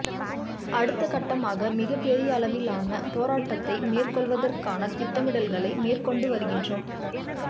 அடுத்த கட்டமாக மிகப் பெரியளவிலான போராட்டத்தை மேற்கொள்வதற்கான திட்டமிடல்களை மேற்கொண்டு வருகின்றோம்